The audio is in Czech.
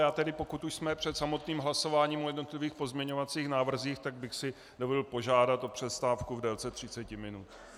Já tedy, pokud už jsme před samotným hlasováním o jednotlivých pozměňovacích návrzích, tak bych si dovolil požádat o přestávku v délce 30 minut.